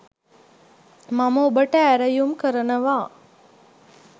මම ඔබට ඇරයුම් කරනවා.